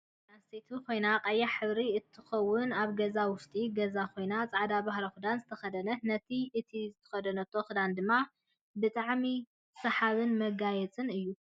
እዛ ጋል ኣንስተይቲ ኮይና ቀያሕ ሕብሪ እንትትከውን ኣብ ገዛ ውሽጢ ገዛ ኮይና ፃዕዳ ባህላዊ ክዳን ዝተከደ ነት እቲ ዝተከደኖቶ ክዳን ድማ ብጣሚ ሰሃብ መጋያፅ እዩ።